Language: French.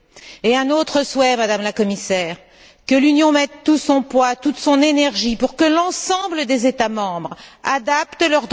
Et j'ai un autre souhait, Madame la Commissaire que l'Union mette tout son poids, toute son énergie pour que l'ensemble des États membres adaptent leur droit à la justice internationale.